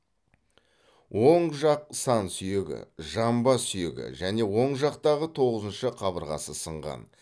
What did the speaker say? оң жақ сан сүйегі жамбас сүйегі және оң жақтағы тоғызыншы қабырғасы сынған